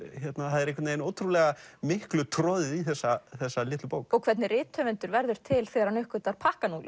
það er einhvern veginn miklu troðið í þessa þessa litlu bók og hvernig rithöfundur verður til þegar hann uppgötvar